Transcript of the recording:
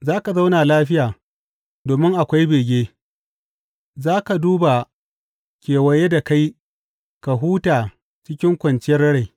Za ka zauna lafiya, domin akwai bege; za ka duba kewaye da kai ka huta cikin kwanciyar rai.